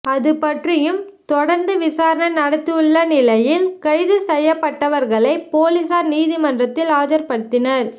அதுபற்றியும் தொடர்ந்து விசாரணை நடத்தவுள்ள நிலையில் கைது செய்யப்பட்டவர்களை போலீசார் நீதிமன்றத்தில் ஆஜர்படுத்தினர்